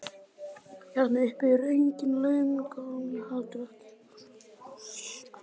Hérna uppi eru engin launungarmál, heldur ekki hver var undan hverjum.